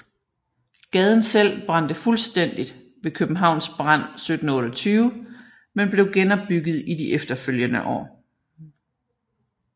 Gaden selv brændte fuldstændigt ved Københavns brand 1728 men blev genopbygget i de efterfølgende år